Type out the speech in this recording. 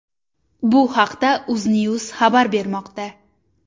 Bu haqda UzNews xabar bermoqda.